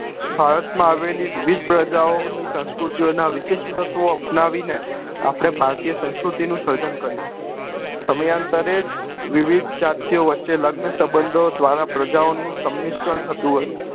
ભારત માં આવેલી વિવિધ પ્રજાઓ ઓની સંસ્કૃતિ ઓ ના વિશિષ્ઠ તત્વો અપનાવી ને આપડે ભારતીય સંસ્કૃતિ ની સર્જન કર્યું સમયાંતરે જ વિવિધ જાતિઓ વચે લગ્ન સબંધ ઓ દ્વારા પ્રજાઓ નું સમીષણ થતું હોય